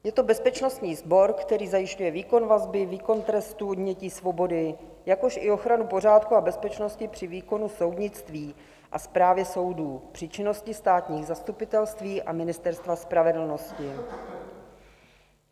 Je to bezpečnostní sbor, který zajišťuje výkon vazby, výkon trestu odnětí svobody, jakož i ochranu pořádku a bezpečnosti při výkonu soudnictví a správy soudů, při činnosti státních zastupitelství a Ministerstva spravedlnosti.